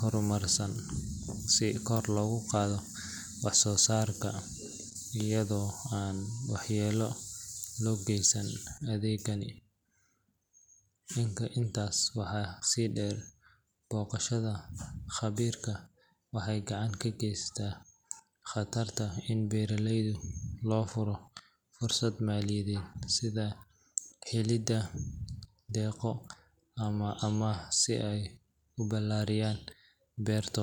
horumarsan si kor loogu qaado wax soo saarka iyadoo aan waxyeello loo geysan deegaanka. Intaas waxaa sii dheer, booqashada khabiirka waxay gacan ka geysan kartaa in beeraleyda loo furo fursado maaliyadeed sida helidda deeqo ama amaah si ay u balaariyaan beertooda.